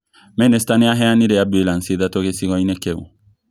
Minista nĩ aheanire ambulanĩcĩ ithatu gĩcigo-inĩ kĩu